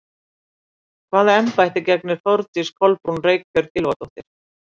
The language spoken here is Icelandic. Hvaða embætti gegnir Þórdís Kolbrún Reykfjörð Gylfadóttir?